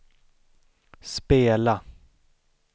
spela